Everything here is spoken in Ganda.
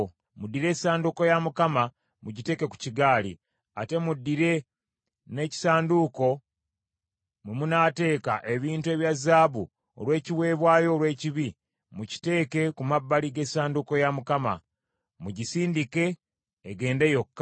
Muddire essanduuko ya Mukama mugiteeke ku kigaali, ate muddire n’ekisanduuko mwe munaateeka ebintu ebya zaabu olw’ekiweebwayo olw’ekibi, mukiteeke ku mabbali g’essanduuko ya Mukama . Mugisindike, egende yokka.